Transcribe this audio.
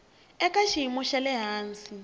eka xiyimo xa le hansi